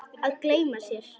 Að gleyma sér